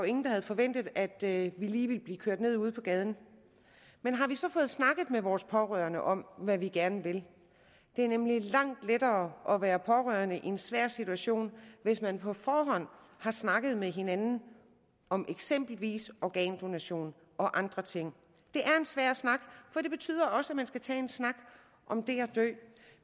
ingen der havde forventet at vi lige ville blive kørt ned ude på gaden men har vi så fået snakket med vores pårørende om hvad vi gerne vil det er nemlig langt lettere at være pårørende i en svær situation hvis man på forhånd har snakket med hinanden om eksempelvis organdonation og andre ting det er en svær snak for det betyder også at man skal tage en snak om det at dø